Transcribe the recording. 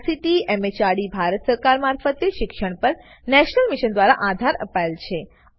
જેને ICT MHRD Bharat સરકાર મારફતે શિક્ષણ પર નેશનલ મિશન દ્વારા આધાર અપાયેલ છે